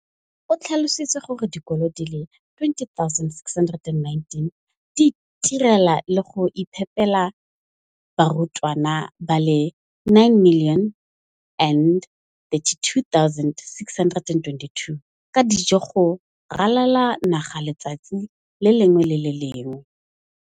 O tlhalositse gore dikolo di le 20 619 di itirela le go iphepela barutwana ba le 9 032 622 ka dijo go ralala naga letsatsi le lengwe le le lengwe.